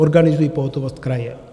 Organizují pohotovost kraje.